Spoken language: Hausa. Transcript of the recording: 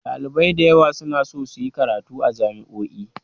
Ɗalibai da yawa suna so su yi karatu a jami'o'i